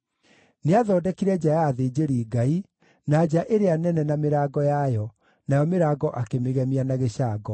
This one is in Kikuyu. Nĩathondekire nja ya athĩnjĩri-Ngai, na nja ĩrĩa nene na mĩrango yayo, nayo mĩrango akĩmĩgemia na gĩcango.